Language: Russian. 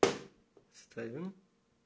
стою